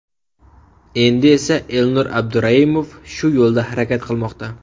Endi esa Elnur Abduraimov shu yo‘lda harakat qilmoqda.